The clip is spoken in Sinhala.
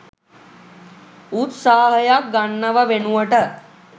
උත්සාහයක් ගන්නව වෙනුවට